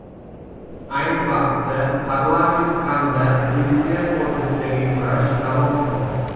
Ayni vaqtda Parlament hamda prezident o‘rtasidagi kurash davom etmoqda .